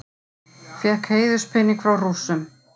Fékk heiðurspening frá Rússum